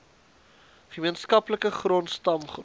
gemeenskaplike grond stamgrond